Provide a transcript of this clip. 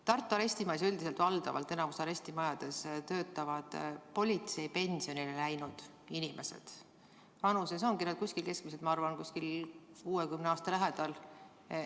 Tartu arestimajas ja üldiselt valdavalt enamikus arestimajades töötavad politseipensionile läinud inimesed, nad on vanuses keskmiselt, ma arvan, 60 aasta ringis.